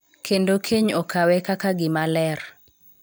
Kendo keny okawe kaka gima ler.